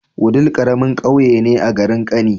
Wudil karamin ƙauye ne a garin kani